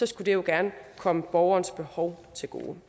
skulle det jo gerne komme borgerens behov til gode